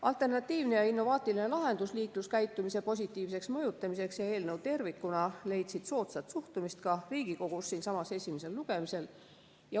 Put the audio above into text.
Alternatiivne ja innovaatiline lahendus liikluskäitumise positiivseks mõjutamiseks ja eelnõu tervikuna leidsid soodsat suhtumist ka siinsamas Riigikogus esimesel lugemisel.